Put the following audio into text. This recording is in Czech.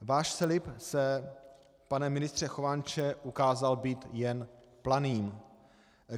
Váš slib se, pane ministře Chovanče, ukázal být jen planým.